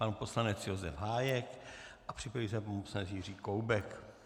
Pan poslanec Josef Hájek a připraví se pan poslanec Jiří Koubek.